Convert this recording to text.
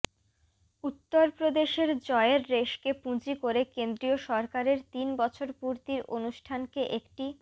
উত্তরপ্রদেশের জয়ের রেশকে পুঁজি করে কেন্দ্রীয় সরকারের তিন বছর পূর্তির অনুষ্ঠানকে একটি